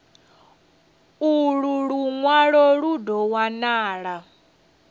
ulu lunwalo lu do wanala